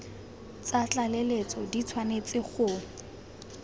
tsa tlaleletso di tshwanetse go